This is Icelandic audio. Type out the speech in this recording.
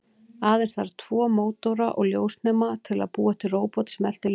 Aðeins þarf tvo mótora og ljósnema til að búa til róbot sem eltir ljós.